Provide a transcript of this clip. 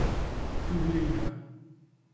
Tudi Ilka.